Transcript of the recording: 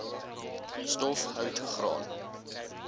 stof hout graan